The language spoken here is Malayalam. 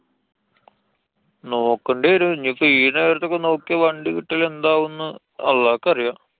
നോക്കണ്ടി വരും. ഞ്ഞിപ്പോ ഈ നേരത്തൊക്കെ നോക്യാ വണ്ടി കിട്ടല് എന്താവും ന്നു അള്ളാക്കറിയാം.